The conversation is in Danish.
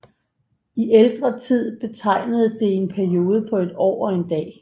I ældre tid betegnede det en periode på et år og en dag